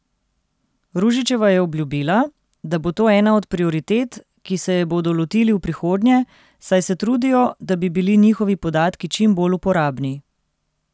Ružičeva je obljubila, da bo to ena od prioritet, ki se je bodo lotili v prihodnje, saj se trudijo, da bi bili njihovi podatki čim bolj uporabni.